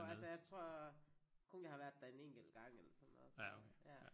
Jo altså jeg tror kun jeg har været der en enkelt gang eller sådan noget tror jeg ja